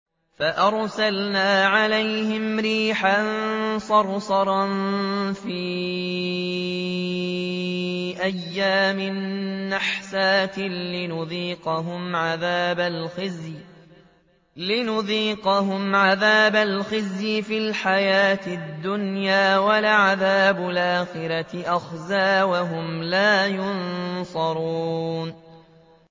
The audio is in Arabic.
فَأَرْسَلْنَا عَلَيْهِمْ رِيحًا صَرْصَرًا فِي أَيَّامٍ نَّحِسَاتٍ لِّنُذِيقَهُمْ عَذَابَ الْخِزْيِ فِي الْحَيَاةِ الدُّنْيَا ۖ وَلَعَذَابُ الْآخِرَةِ أَخْزَىٰ ۖ وَهُمْ لَا يُنصَرُونَ